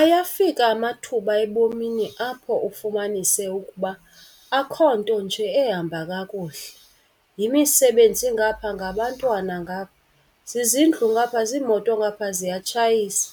Ayafika amathuba ebomini apho ufumanise ukuba akho nto nje ehamba kakuhle, yimisebenzi ngapha ngabantwana ngapha, zizindlu ngapha ziimoto ngapha ziyatshayisa.